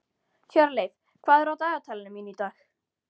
Hjörleif, hvað er á dagatalinu mínu í dag?